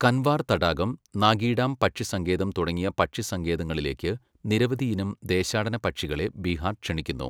കൻവാർ തടാകം, നാഗി ഡാം പക്ഷിസങ്കേതം തുടങ്ങിയ പക്ഷിസങ്കേതങ്ങളിലേക്ക് നിരവധി ഇനം ദേശാടന പക്ഷികളെ ബീഹാർ ക്ഷണിക്കുന്നു.